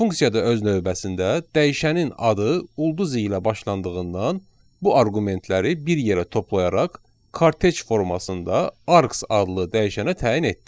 Funksiya da öz növbəsində dəyişənin adı ulduz ilə başlandığından bu arqumentləri bir yerə toplayaraq kortej formasında arks adlı dəyişənə təyin etdi.